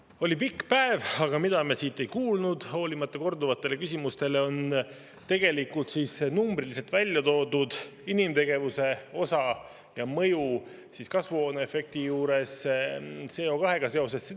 On olnud pikk päev, aga me ei kuulnud, hoolimata korduvatest küsimustest, numbriliselt väljatoodud inimtegevuse osa suurust ja selle mõju kasvuhooneefektile, CO2‑ga seoses.